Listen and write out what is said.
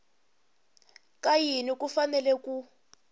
ka yini ku fanele ku